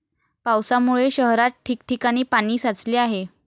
पावसामुळे शहरात ठिकठिकाणी पाणी साचले आहे.